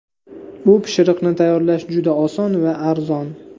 Bu pishiriqni tayyorlash juda oson va arzon.